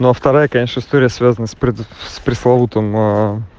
а вторая история связана с пресловутым